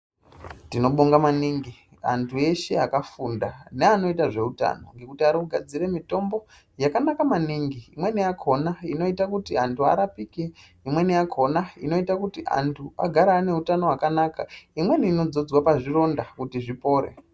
Tinobonga maningi antu eshe akafunda neanoite zveutano ngekuti ari kugadzire mitombo yakanaka maningi imweni yakhona inoite kuti antu arapike, imweni yakhona inoite kuti antu agare ane utano hwakanaka. Imweni inodzodzwe pazvironda kuti zvipore.